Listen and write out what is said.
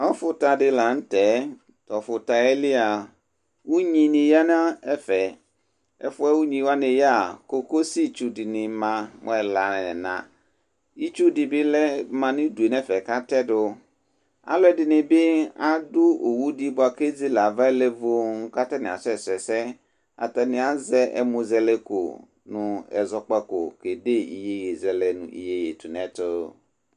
ʋƒʋ ta di lantɛ, tʋ ɔƒʋtaɛ li a ʋnyi ni yanʋ ɛƒɛ, ɛƒʋɛ ʋnyi wani yaa kɔkɔsi tsʋ dini ma mʋ ɛla nʋ ɛna, itsʋ dibi lɛ ɔma nʋ ʋdʋ nʋ ɛƒɛ kʋ atɛdʋ, alʋɛdini bi adʋ ɔwʋ di bʋakʋ ɛzɛlɛ aɣa lɛ vɔɔ kʋ atani asɛ sʋ ɛsɛ, atani azɛ ɛmʋzɛlɛkʋ nʋɛzɔkpakɔ kɛ dɛ yɛyɛzɛlɛ nʋ yɛyɛtʋnɛtʋ